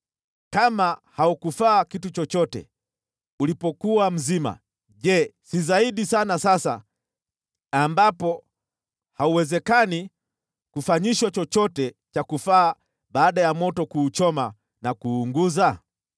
Kama haukufaa kitu chochote ulipokuwa mzima, je, si zaidi sana sasa ambapo hauwezekani kufanyishwa chochote cha kufaa baada ya moto kuuchoma na kuuunguza?